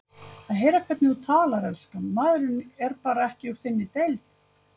Að heyra hvernig þú talar, elskan, maðurinn er bara ekki úr þinni deild